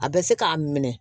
A bɛ se k'a minɛ